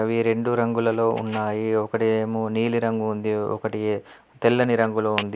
అవి రెండు రంగులలో ఉన్నాయి. ఒకటి ఏమో నీలి రంగు ఉంది ఒకటి తెల్లని రంగులో ఉంది.